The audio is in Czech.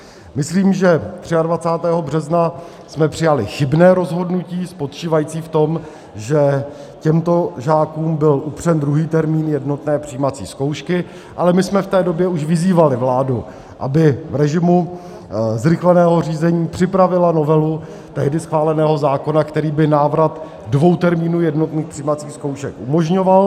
Myslím, že 23. března jsme přijali chybné rozhodnutí spočívající v tom, že těmto žákům byl upřen druhý termín jednotné přijímací zkoušky, ale my jsme v té době už vyzývali vládu, aby v režimu zrychleného řízení připravila novelu tehdy schváleného zákona, který by návrat dvou termínů jednotných přijímacích zkoušek umožňoval.